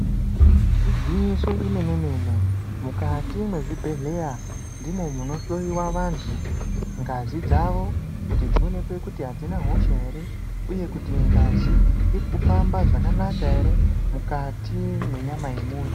Igwinyiso remene-mene mukati mezvibhedhlera mune kunohloyiwa vantu ngazi dzavo kuti dzinonekwe kuti hadzina hosha here uye kuti ngazi iri kufamba zvakanaka here mukati menyama yemuntu.